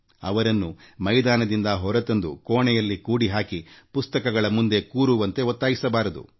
ಅವರನ್ನು ಮೈದಾನದಿಂದ ಹೊರತಂದು ಕೋಣೆಯಲ್ಲಿ ಕೂಡಿಹಾಕಿ ಪುಸ್ತಕಗಳ ಮುಂದೆ ಕೂರುವಂತೆ ಒತ್ತಾಯಿಸಬಾರದು